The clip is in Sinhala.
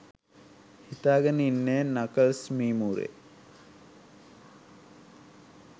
හිතාගෙන ඉන්නේ නකල්ස් මීමුරේ.